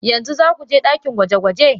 Yanzu za ku je ɗakin gwaje-gwaje?